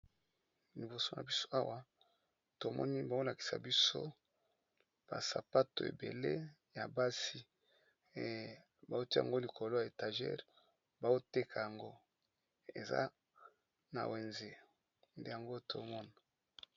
Liboso na biso awa tomoni bazolakisa biso basapato ebele ya basi ba tia yango likolo ya étagere bazoteka yango eza na wenze nde yango tozomona.